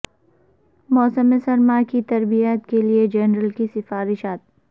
موسم سرما کی تربیت کے لئے جنرل کی سفارشات